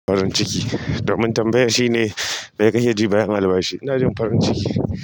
Farin ciki. Domin tambayar shine, mai kake ji bayan albashi. Ina jin farin ciki.